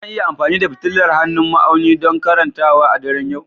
Zan iya amfani da fitilar hannun ma'auni don karantawa a daren yau?